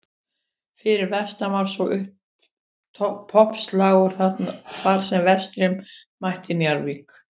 Fyrir vestan var svo toppslagur þar sem Vestri mætti Njarðvík.